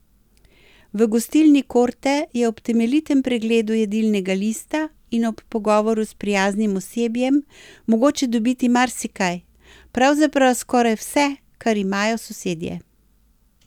V gostilni Korte je ob temeljitem pregledu jedilnega lista in ob pogovoru s prijaznim osebjem mogoče dobiti marsikaj, pravzaprav skoraj vse, kar imajo sosedje.